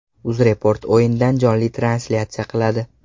UzReport o‘yindan jonli translyatsiya qiladi.